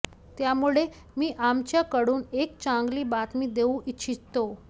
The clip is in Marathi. त्यामुळे मी आमच्याकडून एक चांगली बातमी देऊ इच्छितो